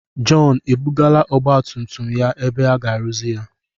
Jọn ebugala ọgbatumtum a ebe aga-arụzi ya?